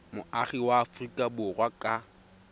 moagi wa aforika borwa ka